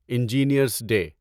engineers day